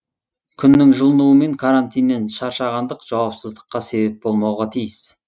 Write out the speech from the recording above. күннің жылынуы мен карантиннен шаршағандық жауапсыздыққа себеп болмауға тиіс